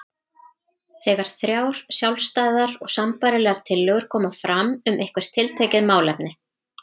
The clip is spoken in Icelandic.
þegar þrjár sjálfstæðar og sambærilegar tillögur koma fram um eitthvert tiltekið málefni.